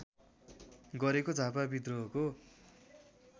गरेको झापा व्रिद्रोहको